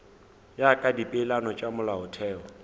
ya ka dipeelano tša molaotheo